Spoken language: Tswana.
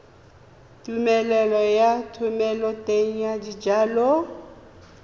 tumelelo ya thomeloteng ya dijalo